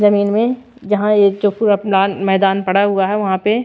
जमीन में जहां ये जो पूरा मैदान पड़ा हुआ है वहां पे--